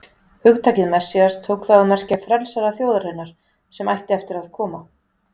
Hugtakið Messías tók þá að merkja frelsara þjóðarinnar sem ætti eftir að koma.